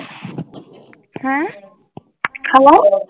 ਹੈਂ hello